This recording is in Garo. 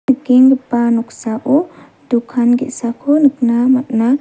nikenggipa noksao dokan ge·sako nikna man·a.